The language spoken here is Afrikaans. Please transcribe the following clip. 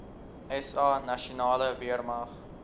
sa nasionale weermag